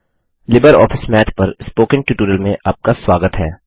LibreOffice Math पर spoken tutorial में आपका स्वागत है